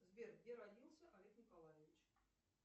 сбер где родился олег николаевич